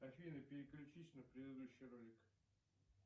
афина переключись на предыдущий ролик